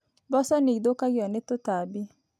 Mboco nĩ ithũkagio nĩ tũtambi.